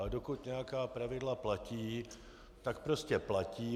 Ale dokud nějaká pravidla platí, tak prostě platí.